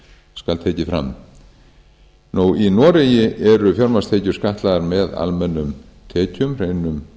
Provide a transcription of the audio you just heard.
skal tekið fram í noregi eru fjármagnstekjur skattlagðar með almennum tekjum hreinum